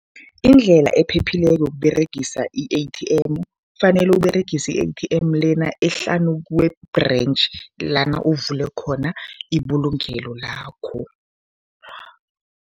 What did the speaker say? Indlela ephephileko yokUberegisa i-A_T_M, kufanele Uberegise i-A_T_M lena ehlanu kwe-branch lana uvule khona ibulungelo lakho.